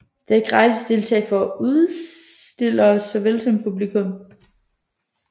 Det er gratis at deltage for udstillere såvel som publikum